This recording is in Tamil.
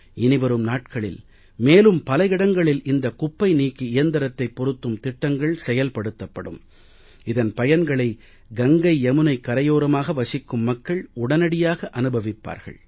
இனி வரும் நாட்களில் மேலும் பல இடங்களில் இந்த குப்பை நீக்கி இயந்திரத்தைப் பொருத்தும் திட்டங்கள் செயல்படுத்தப்படும் இதன் பயன்களை கங்கையமுனைக்கரையோரமாக வசிக்கும் மக்கள் உடனடியாக அனுபவிப்பார்கள்